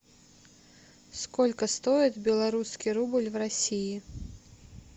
сколько стоит белорусский рубль в россии